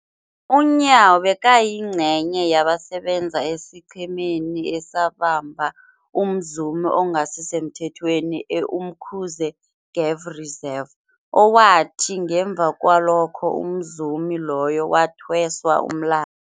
UNyawo bekayingcenye yabasebenza esiqhemeni esabamba umzumi ongasisemthethweni e-Umkhuze Game Reserve, owathi ngemva kwalokho umzumi loyo wathweswa umla